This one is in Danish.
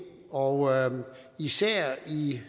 og især i